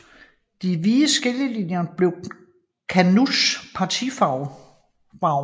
De hvide skillelinjer blev KANUs partifarver